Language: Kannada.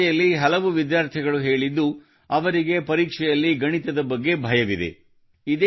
ಈ ಚರ್ಚೆಯಲ್ಲಿ ಕೆಲವು ವಿದ್ಯಾರ್ಥಿಗಳು ಹೇಳಿದ್ದು ಅವರಿಗೆ ಪರೀಕ್ಷೆಯಲ್ಲಿ ಗಣಿತದ ಬಗ್ಗೆ ಭಯವಿದೆ